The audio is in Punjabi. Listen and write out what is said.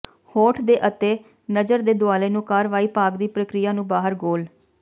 ਹੋਠ ਦੇ ਅਤੇ ਨਜ਼ਰ ਦੇ ਦੁਆਲੇ ਨੂੰ ਕਾਰਵਾਈ ਭਾਗ ਦੀ ਪ੍ਰਕਿਰਿਆ ਨੂੰ ਬਾਹਰ ਗੋਲ